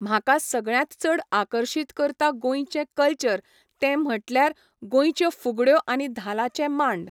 म्हाका सगळ्यांत चड आकर्शीत करता गोंयचें कल्चर ते म्हटल्यार गोंयच्यो फुगड्यो आनी धालांचे मांड.